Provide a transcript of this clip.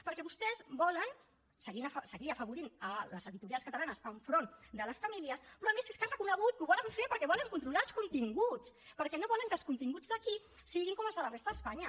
perquè vostès volen seguir afavorint les editorials catalanes enfront de les famílies però a més és que ha reconegut que ho volen fer perquè volen controlar els continguts perquè no volen que els continguts d’aquí siguin com els de la resta d’espanya